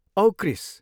औ क्रिस!